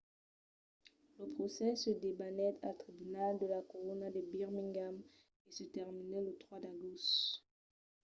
lo procès se debanèt al tribunal de la corona de birmingham e se terminèt lo 3 d’agost